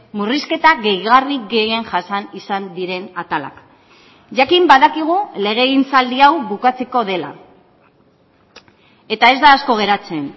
murrizketa gehigarri gehien jasan izan diren atalak jakin badakigu legegintzaldi hau bukatzeko dela eta ez da asko geratzen